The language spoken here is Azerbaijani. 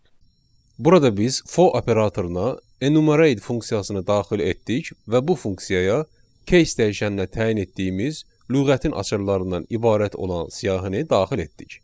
Burada biz for operatoruna enumerate funksiyasını daxil etdik və bu funksiyaya keys dəyişəninə təyin etdiyimiz lüğətin açarlarından ibarət olan siyahını daxil etdik.